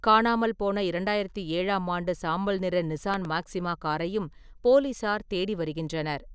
காணாமல் போன 2007ம் ஆண்டு சாம்பல் நிற நிசான் மாக்சிமா காரையும் போலீசார் தேடி வருகின்றனர்.